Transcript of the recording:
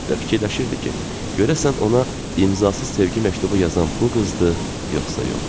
Və fikirləşirdi ki, görəsən ona imzasız sevgi məktubu yazan bu qızdır yoxsa yox.